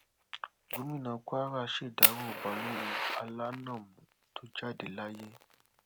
gomina kwara ṣèdàrọ balógun alanamú tó jáde láyé